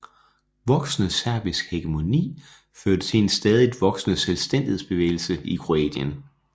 Voksende serbisk hegemoni førte til en stadigt voksende selvstændighedsbevægelse i Kroatien